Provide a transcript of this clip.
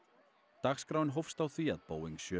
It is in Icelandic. dagskráin hófst á því að Boeing sjö